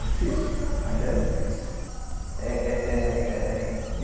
Difícil, ainda é difícil. É é é é